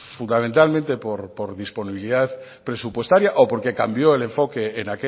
fundamentalmente por disponibilidad presupuestaria o porque cambió el enfoque